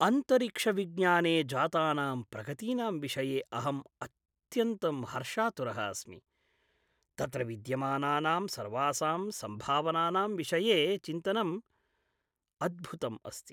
अन्तरिक्षविज्ञाने जातानां प्रगतीनां विषये अहम् अत्यन्तम् हर्षातुरः अस्मि! तत्र विद्यमानानां सर्वासां सम्भावनानां विषये चिन्तनं अद्भुतम् अस्ति।